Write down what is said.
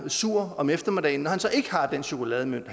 sur om eftermiddagen når han så ikke har den chokolademønt